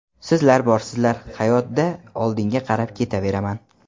Sizlar borsizlar, hayotda oldinga qarab ketaveraman.